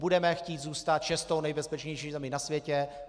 Budeme chtít zůstat šestou nejbezpečnější zemí na světě.